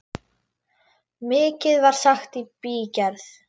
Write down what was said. Mikið var sagt í bígerð.